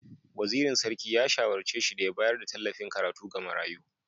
Wazirin Sarki ya shawarce shi da ya bayar da tallafin karatu ga marayu.